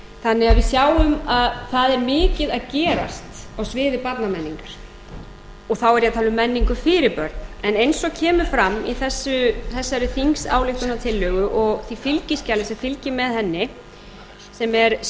þannig að við sjáum að það er mikið að gerast á sviði barnamenningar þá er ég að tala um menningu fyrir börn en eins og kemur fram í þessari þingsályktunartillögu og því fylgiskjali sem fylgir með henni sem er